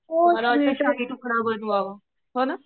मला वाटतंय शाही तुकडा बनवावा हो ना